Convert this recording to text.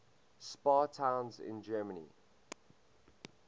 spa towns in germany